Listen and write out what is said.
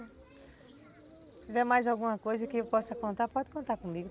Se tiver mais alguma coisa que eu possa contar, pode contar comigo.